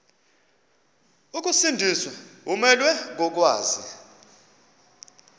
ukusindiswa umelwe kokwazi